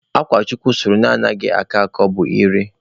Akwa chukwu sụrụ na anaghị akọ akọ bụ Ire.